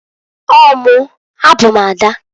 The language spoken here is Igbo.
Ọọ mụǃ A bụ m ada.